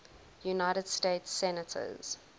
united states senators